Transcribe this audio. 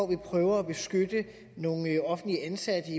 vi prøver at beskytte nogle offentligt ansatte